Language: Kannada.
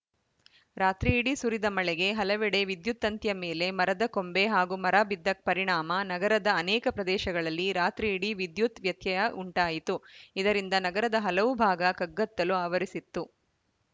ರಾತ್ರಿ ಇಡೀ ಸುರಿದ ಮಳೆಗೆ ಹಲವೆಡೆ ವಿದ್ಯುತ್‌ ತಂತಿಯ ಮೇಲೆ ಮರದ ಕೊಂಬೆ ಹಾಗೂ ಮರ ಬಿದ್ದ ಪರಿಣಾಮ ನಗರದ ಅನೇಕ ಪ್ರದೇಶಗಳಲ್ಲಿ ರಾತ್ರಿ ಇಡೀ ವಿದ್ಯುತ್‌ ವ್ಯತ್ಯಯ ಉಂಟಾಯಿತು ಇದರಿಂದ ನಗರದ ಹಲವು ಭಾಗ ಕಗ್ಗತ್ತಲು ಆವರಿಸಿತ್ತು